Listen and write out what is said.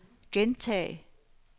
gentag